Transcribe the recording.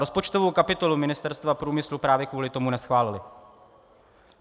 Rozpočtovou kapitolu Ministerstva průmyslu právě kvůli tomu neschválili.